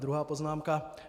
Druhá poznámka.